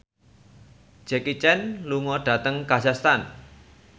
Jackie Chan lunga dhateng kazakhstan